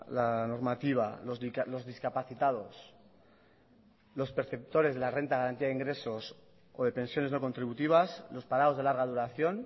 la normativa los discapacitados los perceptores de la renta de ingresos o de pensiones contributivas los parados de larga duración